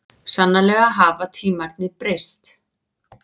Sannarlega hafa tímarnir breyst.